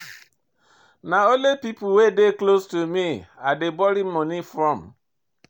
Na only pipo wey dey close to me I dey borrow moni from.